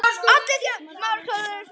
Með sína bleiku, skrítnu fætur?